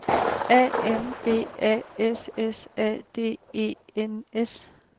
A M B A S S A D E N S